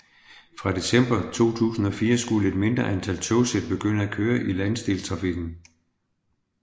Fra december 2004 skulle et mindre antal togsæt begynde at køre i landsdelstrafikken